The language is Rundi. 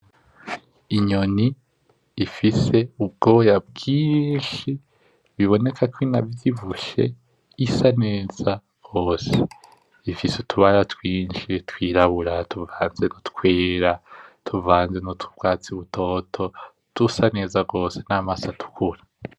Inyoni ifise ubwoya bwinshi, iboneka ko inavyibushe, isa neza rwose. Ifise utubara twinshi twirabura, tuvanze nutwera, tuvanze nutwatsi butoto dusa neza gose, namaso atukura.